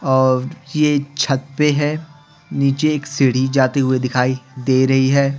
और ये छत पे है नीचे एक सीढ़ी जाते हुए दिखाई दे रही है।